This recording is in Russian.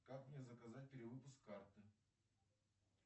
как мне заказать перевыпуск карты